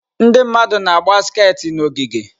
Ndị mmadụ na-agba skati n'ogige.